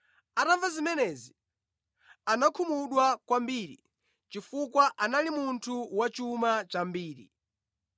Atamva zimenezi, anakhumudwa kwambiri chifukwa anali munthu wachuma chambiri.